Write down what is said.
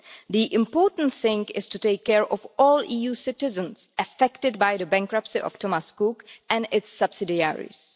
The important thing is to take care of all EU citizens affected by the bankruptcy of Thomas Cook and its subsidiaries.